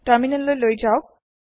terminal লৈ যাওক